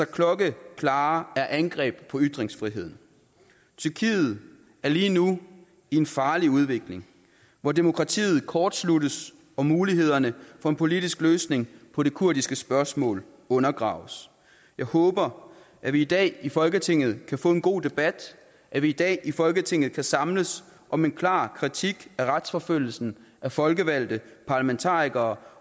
klokkeklare angreb på ytringsfriheden tyrkiet er lige nu i en farlig udvikling hvor demokratiet kortsluttes og mulighederne for en politisk løsning på det kurdiske spørgsmål undergraves jeg håber at vi i dag i folketinget kan få en god debat at vi i dag i folketinget kan samles om en klar kritik af retsforfølgelsen af folkevalgte parlamentarikere